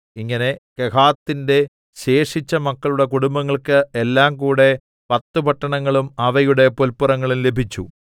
ഇങ്ങനെ കെഹാത്തിന്റെ ശേഷിച്ച മക്കളുടെ കുടുംബങ്ങൾക്ക് എല്ലാംകൂടെ പത്ത് പട്ടണങ്ങളും അവയുടെ പുല്പുറങ്ങളും ലഭിച്ചു